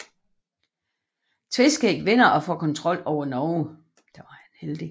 Tveskæg vinder og får kontrol over Norge